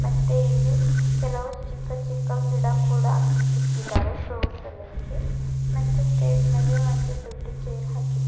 ಮತ್ತೆ ಇಲ್ಲಿ ಕೆಲವು ಚಿಕ್ಕ ಚಿಕ್ಕ ಗಿಡ ಕೂಡ ಇಕ್ಕಿದರೆ ಶೋಸಲೆಕೆ ಮತ್ತ ಸ್ಟೇಜ್ ಮೇಲೆ ಒಂದ್ ದೊಡ್ಡ ಚೇರ್ ಹಾಕಿ--